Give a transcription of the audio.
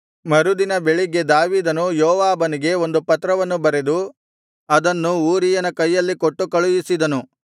ಮರುದಿನ ಬೆಳಿಗ್ಗೆ ದಾವೀದನು ಯೋವಾಬನಿಗೆ ಒಂದು ಪತ್ರವನ್ನು ಬರೆದು ಅದನ್ನು ಊರೀಯನ ಕೈಯಲ್ಲಿ ಕೊಟ್ಟು ಕಳುಹಿಸಿದನು